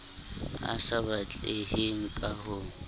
a sa batleheng ka ho